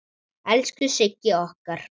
Elsku Sigga okkar!